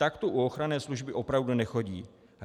Tak to u ochranné služby opravdu nechodí.